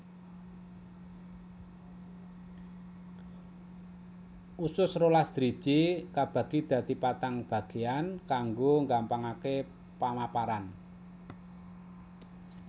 Usus rolas driji kabagi dadi patang bagéyan kanggo nggampangaké pamaparan